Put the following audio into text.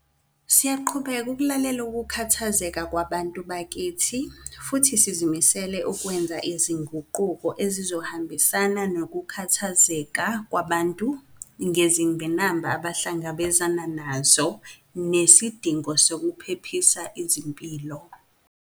Siyaqhubeka ukulalela ukukhathazeka kwabantu bakithi futhi sizimisele ukwenza izinguquko ezizohambisana nokukhathazeka kwabantu ngezingqinamba abahlangabezana nazo nesidingo sokuphephisa izimpilo.